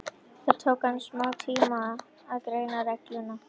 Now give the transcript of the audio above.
Það tók hann smátíma að greina reglulegan andardrátt, drengurinn var heima.